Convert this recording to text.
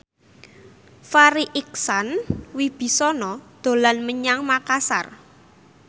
Farri Icksan Wibisana dolan menyang Makasar